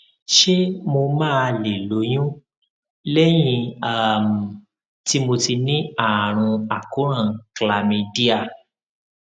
ṣé mo máa lè lóyún lẹyìn um tí mo ti ní àrùn àkóràn chlamydia